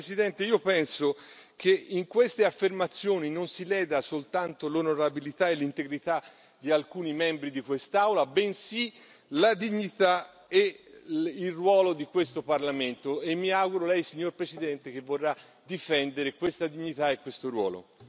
Tuttavia, Presidente, io penso che in queste affermazioni non si leda soltanto l'onorabilità e l'integrità di alcuni membri di quest'Aula, bensì la dignità e il ruolo di questo Parlamento e mi auguro che Lei, signor Presidente, vorrà difendere questa dignità e questo ruolo.